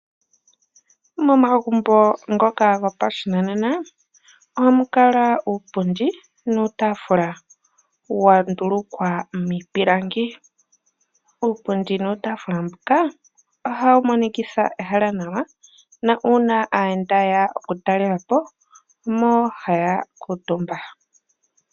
Momagumbo ngoka gopashinanena ohamukala uupundi nuutaafula wa ndulukwa miipilangi . Uupundi nuutaafula mbuka ohawu monikitha ehala nawa na uuna aayenda yeya oku talelapo omo haya kuutumba